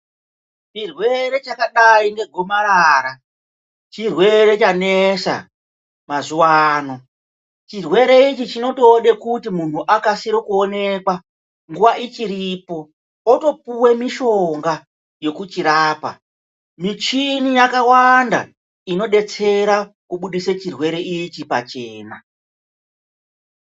Chirwere chakadai negomarara chirwere chanesa mazuwano, chirwere ichi chinotode kuti munhu akasire kuonekwa nguwa ichiripo otopuwe mishonga yekuchirapa. Michini yakawanda inodetsere kubudisa chirwere ichi pachena.